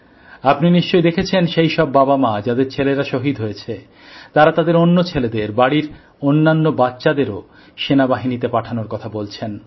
আপনি নিশ্চয়ই দেখেছেন সেই সব বাবামা যাদের ছেলেরা শহীদ হয়েছিল তারা তাদের অন্য ছেলেদের বাড়ির অন্যান্য বাচ্চাদেরও সেনাবাহিনীতে পাঠানোর কথা বলছেন